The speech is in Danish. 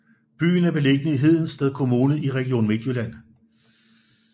Byen er beliggende i Hedensted Kommune i Region Midtjylland